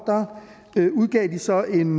udgav de så en